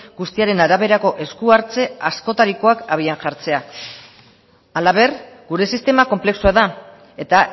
guztiaren araberako esku hartze askotarikoak abian hartzea halaber gure sistema konplexua da eta